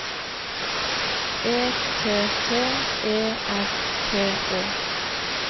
E T T E R P Å